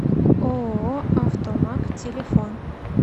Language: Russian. ооо автомаг телефон